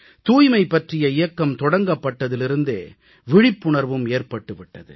தூய்மை பற்றிய இயக்கம் தொடங்கப்பட்டதிலிருந்தே விழிப்புணர்வும் ஏற்பட்டு விட்டது